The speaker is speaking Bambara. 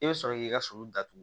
I bɛ sɔrɔ k'i ka sɔli datugu